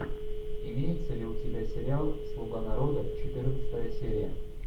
имеется ли у тебя сериал слуга народа четырнадцатая серия